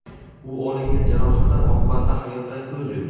U olingan jarohatlar oqibatida hayotdan ko‘z yumdi.